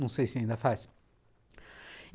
Não sei se ainda faz.